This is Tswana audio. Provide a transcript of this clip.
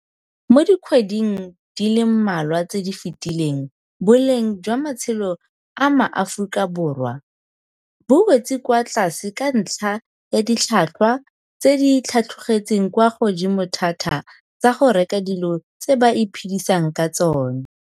Mo dikgweding di le mmalwa tse di fetileng boleng jwa matshelo a maAforika Borwa bo wetse kwa tlase ka ntlha ya ditlhotlhwa tse di tlhatlogetseng kwa godimo thata tsa go reka dilo tse ba iphedisang ka tsona.